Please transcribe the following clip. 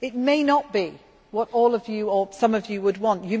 It may not be what all of you or some of you would want.